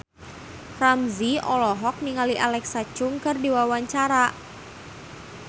Ramzy olohok ningali Alexa Chung keur diwawancara